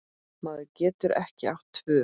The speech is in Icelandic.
Maður getur ekki átt tvö